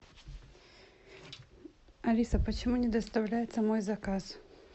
алиса почему не доставляется мой заказ